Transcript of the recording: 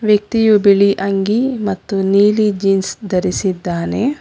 ವ್ಯಕ್ತಿಯು ಬಿಳಿ ಅಂಗಿ ಮತ್ತು ನೀಲಿ ಜೀನ್ಸ್ ದರಿಸಿದ್ದಾನೆ.